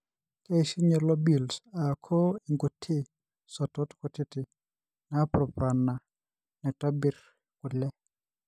keishunye lobules aaku inkuti sotot kutiti napurupana naitobir kule.